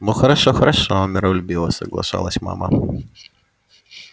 ну хорошо хорошо миролюбиво соглашалась мама